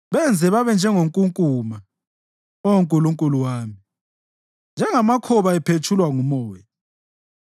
Benze babe njengenkunkuma, Oh Nkulunkulu wami, njengamakhoba ephetshulwa ngumoya.